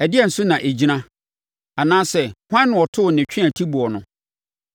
Ɛdeɛn so na ɛgyina, anaasɛ hwan na ɔtoo ne tweatiboɔ no,